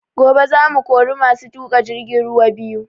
Gobe za mu kori masu tuƙa jirgin ruwa biyu